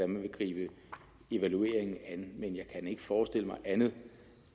man vil gribe evalueringen an men jeg kan ikke forestille mig andet